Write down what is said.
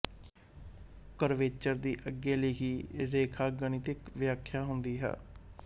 curvature ਦੀ ਅੱਗੇ ਲਿਖੀ ਰੇਖਾਗਣਿਤਿਕ ਵਿਆਖਿਆ ਹੁੰਦੀ ਹੈ